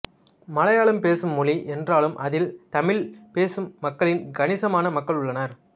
மலையாளம் பேசும் மொழி என்றாலும் அதில் தமிழ் பேசும் மக்களில் கணிசமான மக்கள் உள்ளனர்